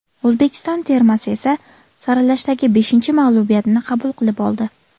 O‘zbekiston termasi esa saralashdagi beshinchi mag‘lubiyatini qabul qilib oldi.